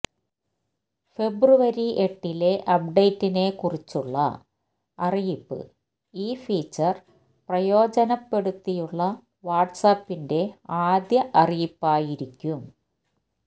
ഫെബ്രുവരി എട്ടിലെ അപ്ഡേറ്റിനെ കുറിച്ചുള്ള അറിയിപ്പ് ഈ ഫീച്ചര് പ്രയോജനപ്പെടുത്തിയുള്ള വാട്സാപ്പിന്റെ ആദ്യ അറിയിപ്പായിരിക്കും